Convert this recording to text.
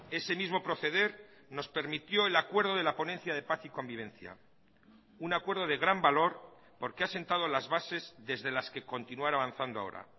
ese mismo proceder nos permitió el acuerdo de la ponencia de paz y convivencia un acuerdo de gran valor porque ha sentado las bases desde las que continuar avanzando ahora